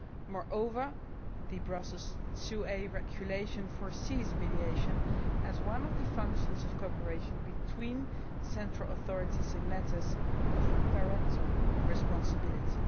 Moreover, the Brussels IIa Regulation foresees mediation as one of the functions of cooperation between central authorities in matters of parental responsibility.